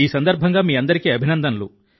ఈ సందర్భంగా మీ అందరికీ అభినందనలు